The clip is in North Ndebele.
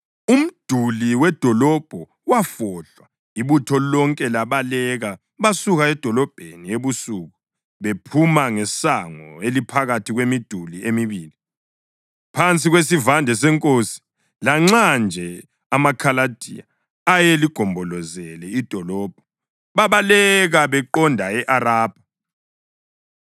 Umduli wedolobho wafohlwa, ibutho lonke labaleka. Basuka edolobheni ebusuku bephuma ngesango eliphakathi kwemiduli emibili, phansi kwesivande senkosi, lanxa nje amaKhaladiya ayeligombolozele idolobho. Babaleka beqonde e-Arabha,